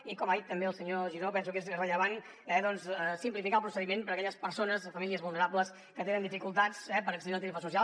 i com ha dit també el senyor giró penso que és rellevant doncs simplificar el procediment per a aquelles persones o famílies vulnerables que tenen dificultats per accedir a la tarifa social